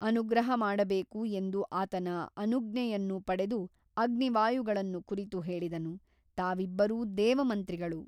ಅನುಗ್ರಹ ಮಾಡಬೇಕು ಎಂದು ಆತನ ಅನುಜ್ಞೆಯನ್ನು ಪಡೆದು ಅಗ್ನಿ ವಾಯುಗಳನ್ನು ಕುರಿತು ಹೇಳಿದನು ತಾವಿಬ್ಬರೂ ದೇವಮಂತ್ರಿಗಳು.